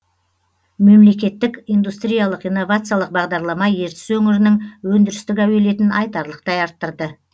мемлекеттік индустриялық инновациялық бағдарлама ертіс өңірінің өндірістік әуелетін айтарлықтай арттырды